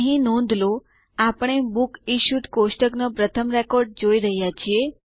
અહીં નોંધ લો આપણે બુક્સ ઇશ્યુડ કોષ્ટકનો પ્રથમ રેકોર્ડ જોઈ રહ્યા છીએ